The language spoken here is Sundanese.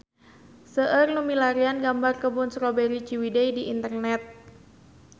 Seueur nu milarian gambar Kebun Strawberry Ciwidey di internet